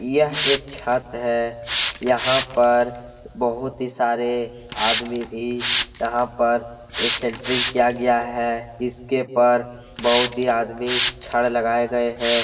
यह एक छत है। यहाँ पर बहुत ही सारे आदमी भी यहाँ पर सेंट्रिंग किया गया है। इसके पर बहुत ही आदमी छड़ लगाये गए है।